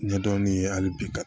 Ɲɛdɔnni ye hali bi ka